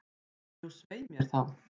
Jú, svei mér þá.